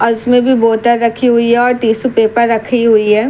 और उसमे भी बोतल रखी हुई है और टिसू पेपर रखी हुई है।